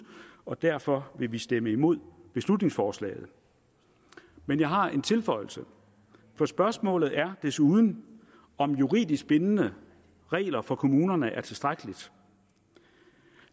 og derfor vil vi stemme imod beslutningsforslaget men jeg har en tilføjelse for spørgsmålet er desuden om juridisk bindende regler for kommunerne er tilstrækkeligt